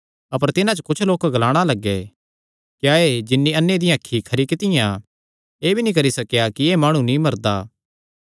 अपर तिन्हां च कुच्छ लोक ग्लाणा लग्गे क्या एह़ जिन्नी अन्ने दियां अखीं खरी कित्तियां एह़ भी नीं करी सकेया कि एह़ माणु नीं मरदा